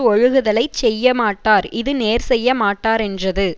ஒழுகுதலைச் செய்யமாட்டார் இது நேர் செய்ய மாட்டாரென்றது